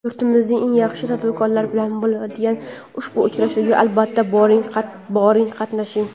Yurtimizning eng yaxshi tadbirkorlari bilan bo‘ladigan ushbu uchrashuvga, albatta, boring, qatnashing.